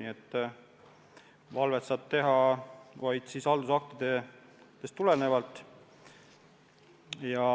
Järelevalvet saab teha vaid haldusaktidest tulenevalt ja